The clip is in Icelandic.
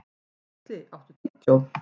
Geisli, áttu tyggjó?